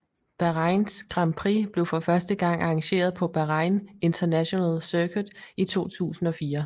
Bahrains Grand Prix blev for første gang arrangeret på Bahrain International Circuit i 2004